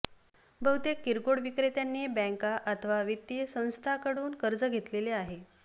बहुतेक किरकोळ विक्रेत्यांनी बँका अथवा वित्तीय संस्थांकडून कर्ज घेतलेले आहे